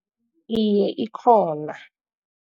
Iye, ikhona.